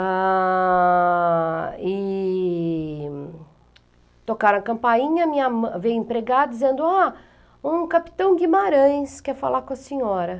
Ah... e... tocaram a campainha, minha mãe, veio a empregada dizendo, ah, um capitão Guimarães quer falar com a senhora.